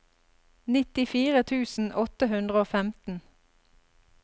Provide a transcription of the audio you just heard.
nittifire tusen åtte hundre og femten